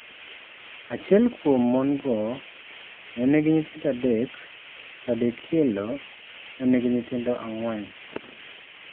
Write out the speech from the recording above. Achiel kuom mon go nenigi nyithindo adek to adekielo nenigi nyithindo ang'wen.